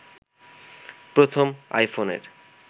প্রথম আইফোনের